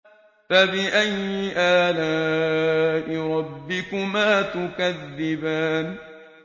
فَبِأَيِّ آلَاءِ رَبِّكُمَا تُكَذِّبَانِ